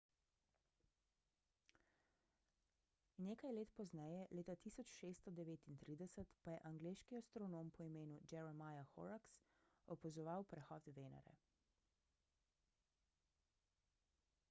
nekaj let pozneje leta 1639 pa je angleški astronom po imenu jeremiah horrocks opazoval prehod venere